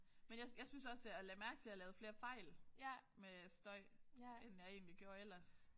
Men jeg jeg synes også jeg lagde mærke til jeg lavede flere fejl med støj end jeg egentlig gjorde ellers